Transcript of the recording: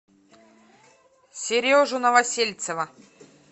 сережу новосельцева